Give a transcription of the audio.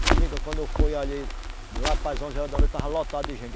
Minha amiga, quando foi ali... Lá para as onze horas da noite, estava lotado de gente.